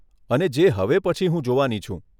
અને જે હવે પછી હું જોવાની છું.